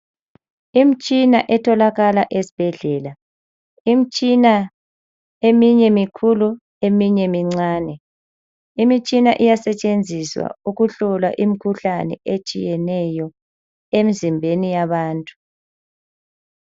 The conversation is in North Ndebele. Imitshina etholakala esibhedlela. Imitshina eminye imikhulu eminye imncane. Imitshina iyasetshenziswa ukuhlola imkhuhlane etshiyeneyo emzimbeni yabantu.